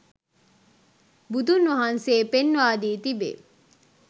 බුදුන් වහන්සේ පෙන්වා දී තිබේ.